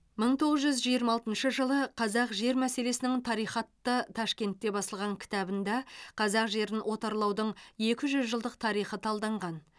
мың тоғыз жүз жиырма алтыншы жылы қазақ жер мәселесінің тарихы атты ташкентте басылған кітабында қазақ жерін отарлаудың екі жүз жылдық тарихы талданған